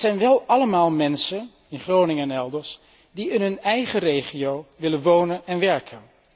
Dat zijn wel allemaal mensen, in Groningen en elders, die in hun eigen regio willen wonen en werken.